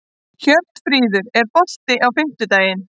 Hjörtfríður, er bolti á fimmtudaginn?